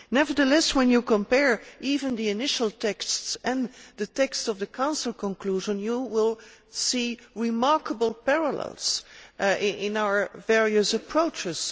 Nevertheless, when you compare even the initial texts and the texts of the Council conclusion, you will see remarkable parallels in our various approaches.